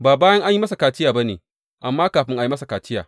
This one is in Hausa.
Ba bayan an yi masa kaciya ba ne, amma kafin a yi masa kaciya!